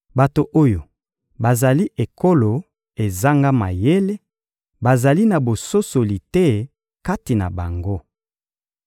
Bato oyo bazali ekolo ezanga mayele, bazali na bososoli te kati na bango.